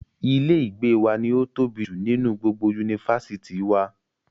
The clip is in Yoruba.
Ilé ìgbé wa ni ó tóbi jù nínú gbogbo yunifásítì wa.